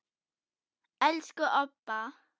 Elsku Obba.